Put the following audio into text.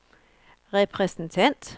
repræsentant